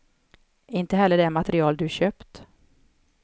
Inte heller det material du köpt.